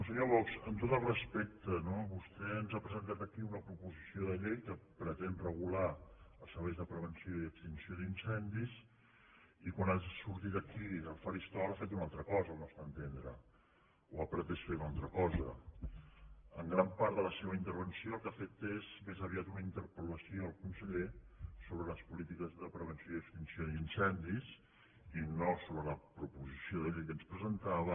senyor bosch amb tot el respecte no vostè ens ha presentat aquí una propo·sició de llei que pretén regular els serveis de prevenció i extinció d’incendis i quan ha sortit aquí al faristol ha fet una altra cosa al nostre entendre o ha pretès fer una altra cosa en gran part de la seva intervenció el que ha fet és més aviat una interpel·lació al conseller sobre les polítiques de prevenció i extinció d’incen·dis i no sobre la proposició de llei que ens presentava